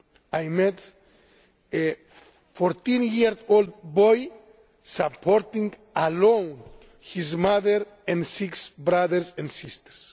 Syria. I met a 14 year old boy supporting alone his mother and six brothers and sisters.